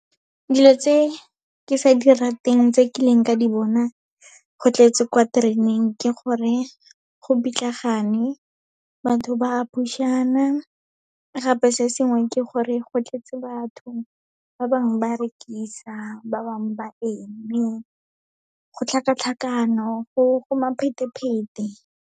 Dilo tse ke sa di rateng tse ke keileng ka di bona go tletse kwa tereneng, ke gore go pitlagane, batho ba push-ana. Gape se sengwe ke gore go tletse batho, ba bangwe ba rekisa, ba bangwe ba eme, go tlhakatlhakano, go .